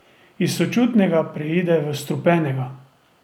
Iz sočutnega preide v strupenega.